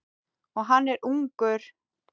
Og hann er ungur.